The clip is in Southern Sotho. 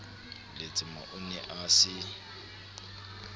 letsema o ne a se